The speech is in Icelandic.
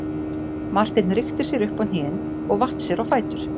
Marteinn rykkti sér upp á hnén og vatt sér á fætur.